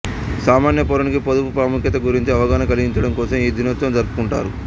సామాన్య పౌరులకి పొదుపు ప్రాముఖ్యత గురించి అవగాహన కలిగించడంకోసం ఈ దినోత్సవం జరుపుకుంటారు